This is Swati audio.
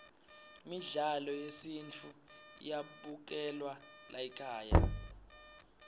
midlalo yesintfu iyabukelwa laykhaya